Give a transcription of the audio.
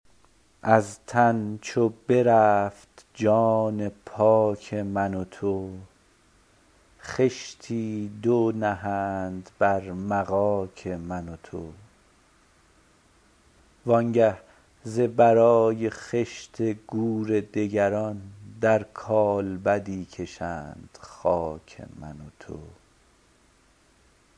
از تن چو برفت جان پاک من و تو خشتی دو نهند بر مغاک من و تو و آنگه ز برای خشت گور دگران در کالبدی کشند خاک من و تو